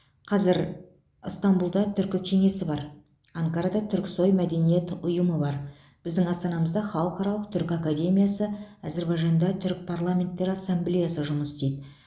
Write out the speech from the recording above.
қазір ыстанбұлда түркі кеңесі бар анкарада түріксой мәдениет ұйымы бар біздің астанамызда халықаралық түркі академиясы әзербайжанда түрік парламенттері ассамблеясы жұмыс істейді